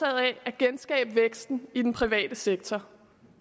af at genskabe væksten i den private sektor